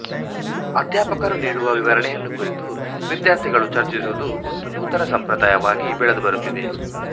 ಅಧ್ಯಾಪಕರು ನೀಡುವ ವಿವರಣೆಯನ್ನು ಕುರಿತು ವಿದ್ಯಾರ್ಥಿ ಗಳು ಚರ್ಚಿಸುವುದು ಒಂದು ನೂತನ ಸಂಪ್ರದಾಯವಾಗಿ ಬೆಳೆದು ಬರುತ್ತಿದೆ